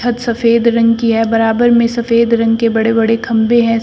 सफेद रंग की है बराबर में सफेद रंग के बड़े बड़े खंभे हैं।